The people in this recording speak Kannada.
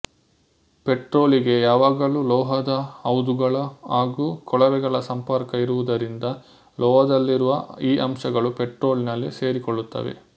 ಪೆಟ್ರೋಲಿಗೆ ಯಾವಾಗಲೂ ಲೋಹದ ಹೌದುಗಳ ಹಾಗೂ ಕೊಳವೆಗಳ ಸಂಪರ್ಕ ಇರುವುದರಿಂದ ಲೋಹದಲ್ಲಿರುವ ಈ ಅಂಶಗಳು ಪೆಟ್ರೋಲಿನಲ್ಲಿ ಸೇರಿಕೊಳ್ಳುತ್ತವೆ